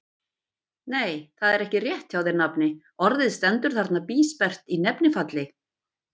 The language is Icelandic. Nei, það er ekki rétt hjá þér, nafni, orðið stendur þarna bísperrt í nefnifalli.